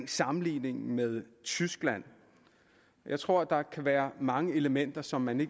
sammenligningen med tyskland jeg tror at der kan være mange elementer som man